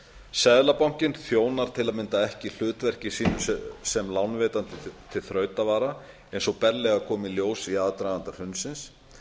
seðlabankinn þjónar tam ekki hlutverki sínu sem lánveitandi til þrautavara eins og berlega kom í ljós í aðdraganda hrunsins